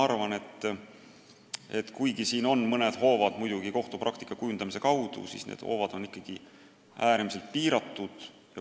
Nii et kuigi meie käes on mõned hoovad – need seisnevad kohtupraktika kujundamises –, on nende kasutamine ikkagi äärmiselt piiratud.